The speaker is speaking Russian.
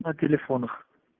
на телефонах